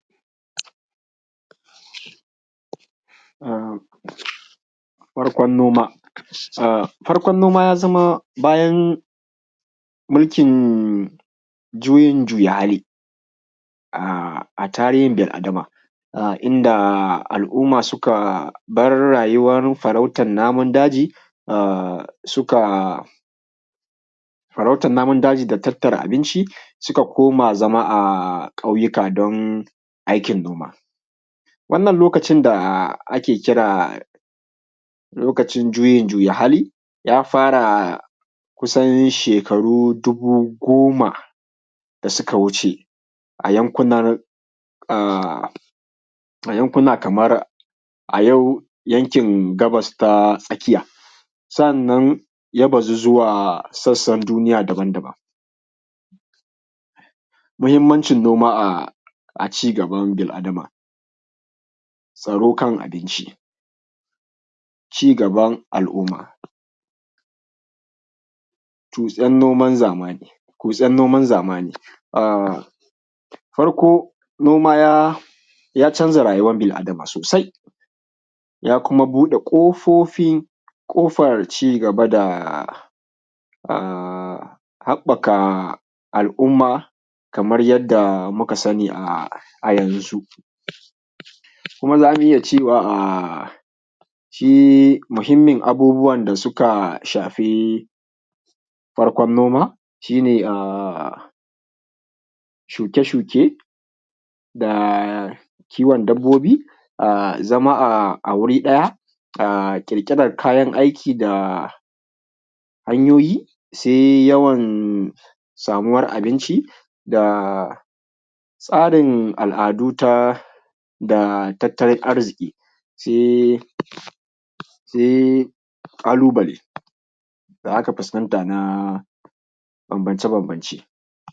A farkon noma. Farkon noma ya zama bayan mulkin juyin juya hali a tarihin bil Adama, inda al’umma suka bar rayuwar farautan namun daji, suka farautan namomin daji da tattara abinci suka koma zama a ƙauyuka don aikin noma. Wannan lokacin da ake kira lokacin juyin juya hali ya fara kusan shekaru dubu goma da suka wuce a yankunan, yankuna kamar a yau yankin gabas ta tsakiya. Sannan ya bazu zuwa sassan duniya daban daban. Muhimmanci noma a cigaban bil Adama. Tsaro kan abinci. Cigaban al’umma, kutsen noman zamani. Farko noma ya canza rayuwan bil Adama sosai, ya kuma buɗe ƙofofin, ƙofar cigaba da a haɓɓaka al’umma kamar yadda muka sani, a yanzu kuma zamu iya cewa shi mahimmin abubuwan da suka shafi farkon noma, shi ne shuke shuke, kiwon dabbobi, zama a wuri ɗaya ƙirƙiran kayan aiki da hanyoyi. Sai yawan samuwar abinci, da tsarin al’adu, da tattalin aiziki sai ƙalubale da aka fuskanta da banbance banbance